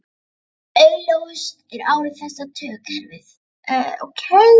Augljósust eru áhrif þess á taugakerfið.